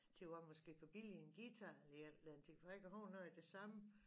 Det var måske for billig en guitar i alt den tid for jeg kan huske noget af det samme